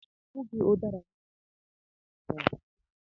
Ọbụghị ụdara niile jiri aka ya daa na-atọ ụtọ